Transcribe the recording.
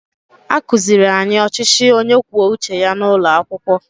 A kụziiri anyị ọchịchị onye kwuo uche ya n’ụlọ akwụkwọ